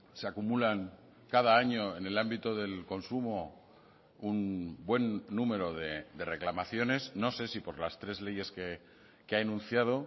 se acumulan cada año en el ámbito del consumo un buen número de reclamaciones no sé si por las tres leyes que ha enunciado